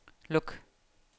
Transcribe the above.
luk